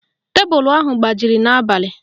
Tebulu ahụ gbajiri n'abalị